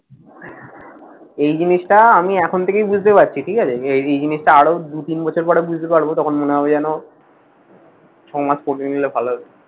এই জিনিসটা আমি এখন থেকেই বুঝতে পারছি ঠিক আছে? যে এ এই জিনিসটা আরো দু তিন বছর পরে বুঝতে পারব তখন মনে হবে যেন সমাজ কঠিন হলে ভালো হতো।